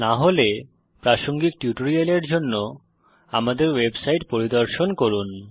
না হলে প্রাসঙ্গিক টিউটোরিয়ালের জন্য আমাদের ওয়েবসাইট পরিদর্শন করুন